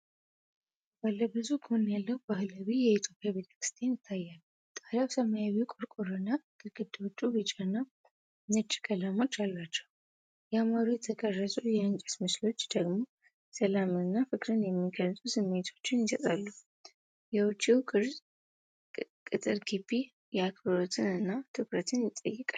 ባለ ብዙ ጎን ያለው ባህላዊ የኢትዮጵያ ቤተክርስቲያን ይታያል። ጣሪያው ሰማያዊ ቆርቆሮና፣ ግድግዳዎቹ ቢጫና ነጭ ቀለሞች አሏቸው። ያማሩ የተቀረጹ የእንጨት ምሰሶዎች ደግሞ ሰላምንና ፍቅርን የሚገልጹ ስሜቶችን ይሰጣሉ። የውጪው ቅጥር ግቢ አክብሮትን እና ትኩረትን ይጠይቃል።